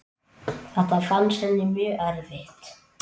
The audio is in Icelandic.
Þetta fannst henni mjög erfitt.